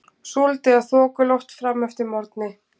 Súld eða þokuloft fram eftir morgni